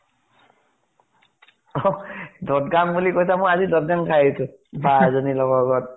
দদ্গান বুলি কৈছা, মই আজি দদ্গান খাই আহিছো। বা এজনীৰ লগৰ ঘৰত।